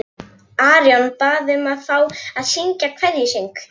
Arion bað um að fá að syngja kveðjusöng.